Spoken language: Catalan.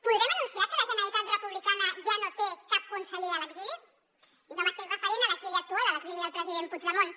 podrem anunciar que la generalitat republicana ja no té cap conseller a l’exili i no m’estic referint a l’exili actual a l’exili del president puigdemont